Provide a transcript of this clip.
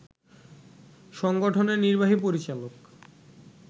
সংগঠনের নির্বাহী পরিচালক